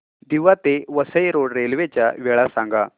दिवा ते Vasai road railway च्या वेळा सांगा